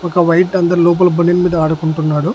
ఒక వైట్ అందర్ లోపల బనీన్ ఆడుకుంటున్నాడు.